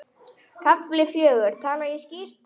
KAFLI FJÖGUR Tala ég skýrt?